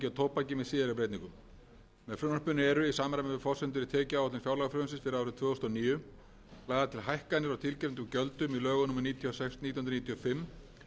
og tóbaki með síðari breytingum með frumvarpinu eru í samræmi við forsendur í tekjuáætlun fjárlagafrumvarpsins fyrir árið tvö þúsund og níu lagðar til hækkanir á tilgreindum gjöldum í lögum númer níutíu og sex nítján hundruð níutíu og fimm um